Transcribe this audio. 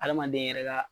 Adamaden yɛrɛ ka